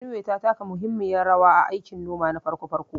Benue ta taka muhimmiyar rawa a aikin noma na farko farko